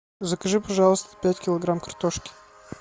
закажи пожалуйста пять килограмм картошки